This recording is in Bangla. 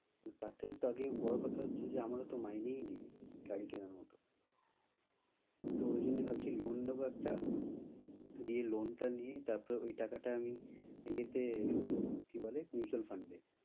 না, তার থাকে তো আগে বড়ো কথা হছে যে আমার তো মাইনে নেই গাড়ী কেনার মতো তো ওই জন্যে ভাবছি loan নেব একটা দিয়ে loan টা নিয়ে তারপরে ওই টাকা টা ইয়ে তে ঢুকিয়ে দেবো, কি বলে mutual fund এ